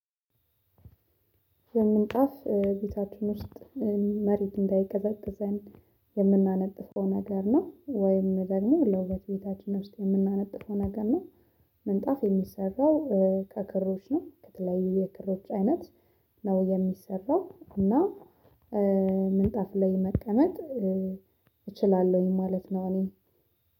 የምንጣፍ ቤታችን ውስጥ መሬት እንዳይገዛገዝ የምናነጥፈው ነገር ነው ወይም ደግሞ ለውበት ቤታችን ውስጥ የምናነጥፈው ነገር ነው። ምንጣፍ የሚሰራው ከክሮች ነው ከተለያዩ የክሮች አይነት ነው የሚሰራው። እና ምንጣፍ ላይ መቀመጥ እችላለሁኝ ማለት ነው። እኔ